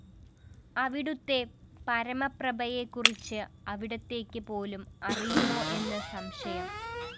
അവിടുത്തെ പരമപ്രഭയെക്കുറിച്ച് അവിടുത്തേയ്ക്ക് പോലും അറിയാമോ എന്ന് സംശയം